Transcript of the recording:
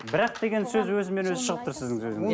бірақ деген сөз өзімен өзі шығып тұр сіздің сөзіңізде